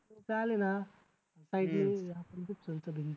झाले ना